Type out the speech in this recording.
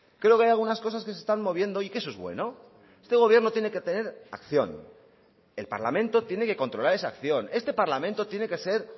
creo que hay algunas cosas que se están moviendo y que eso es bueno este gobierno tiene que tener acción el parlamento tiene que controlar esa acción este parlamento tiene que ser